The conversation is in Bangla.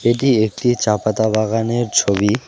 এটি একটি চা পাতা বাগানের ছবি।